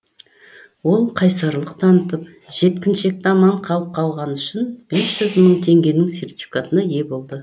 ол қайсарлық танытып жеткіншекті аман алып қалғаны үшін бес жүз мың теңгенің сертификатына ие болды